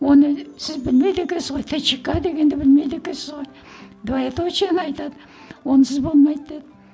оны сіз білмейді екенсіз ғой тчка дегенді білмейді екенсіз ғой двоеточиені айтады онсыз болмайды деді